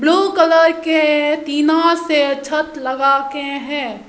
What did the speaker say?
Blue colour के टीना से छत लगा के हैं।